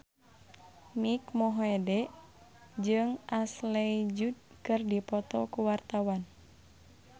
Mike Mohede jeung Ashley Judd keur dipoto ku wartawan